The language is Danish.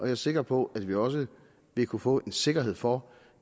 er sikker på at vi også vil kunne få sikkerhed for